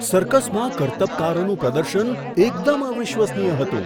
સર્કસમાં કરતબકારોનું પ્રદર્શન એકદમ અવિશ્વસનીય હતું!